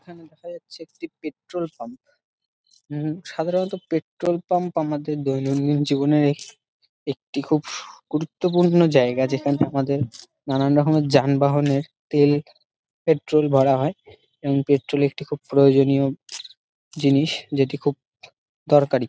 এইখানে দেখা যাচ্ছে একটি পেট্রল পাম্ উম সাধারণত পেট্রল পাম্প আমাদের দৈনন্দিন জীবনে এহ একটি খুব গুরুর্ত্বপূর্ণ জায়গা যেখানে আমাদের নানারকমের যানবাহন এর তেল পেট্রল ভরা হয় এবং পেট্রল একটি খুব প্রয়োজনীয় জিনিস যেটি খুব দরকারি।